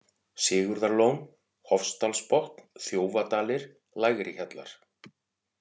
Sigurðarlón, Hofsdalsbotn, Þjófadalir, Lægrihjallar